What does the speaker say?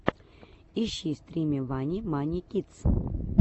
ищи стримы вани мани кидс